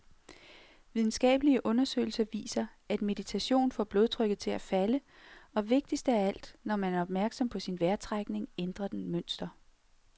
Videnskabelige undersøgelser viser, at meditation får blodtrykket til at falde, og, vigtigst af alt, når man er opmærksom på sin vejrtrækning, ændrer den mønster.